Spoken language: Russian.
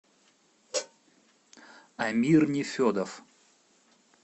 амир нефедов